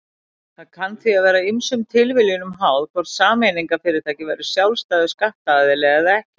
Það kann því að vera ýmsum tilviljunum háð hvort sameignarfyrirtæki verður sjálfstæður skattaðili eða ekki.